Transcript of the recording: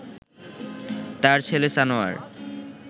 তার ছেলে সানোয়ার